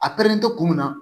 A perelen to kun min na